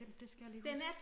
Det skal jeg lige huske